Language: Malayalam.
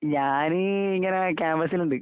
ഞാന് ഇങ്ങനെ ക്യാമ്പസില്ണ്ട്.